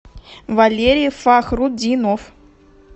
валерий фахрутдинов